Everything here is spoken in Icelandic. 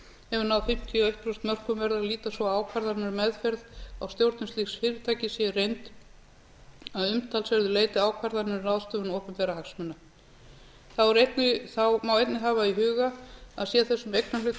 hefur náð fimmtíu og eitt prósent mörkum verður að líta svo á að ákvarðanir um meðferð á stjórnun slíks fyrirtækis sé í reynd að umtalsverðu leyti ákvarðanir um ráðstöfun opinberra hagsmuna þá má einnig að hafa í huga að sé þessum eignarhluta